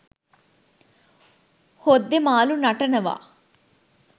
හොද්දේ මාළු නටනවා